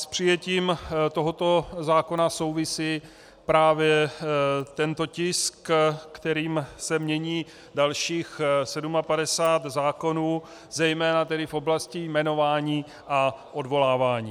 S přijetím tohoto zákona souvisí právě tento tisk, kterým se mění dalších 57 zákonů, zejména tedy v oblasti jmenování a odvolávání.